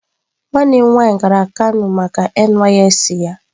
Nwannem nwaanyi gara kano maka NYSC